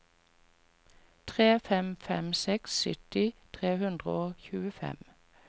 tre fem fem seks sytti tre hundre og tjuefem